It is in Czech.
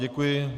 Děkuji.